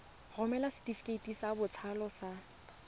romela setefikeiti sa botsalo sa